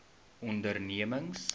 ondernemings